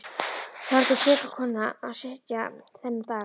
Þar átti seka konan að sitja þennan dag.